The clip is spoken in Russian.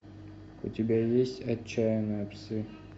у тебя есть отчаянные псы